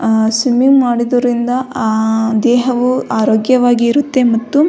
ಅ swimming ಮಾಡುವುದರಿಂದ ದೇಹವು ಆರೋಗ್ಯವಾಗಿರುತ್ತೆ ಮತ್ತು --